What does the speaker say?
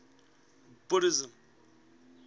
buddhism